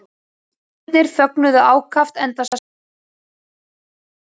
Vísindamennirnir fögnuðu ákaft enda sannfærðir um að nú væri þeim borgið.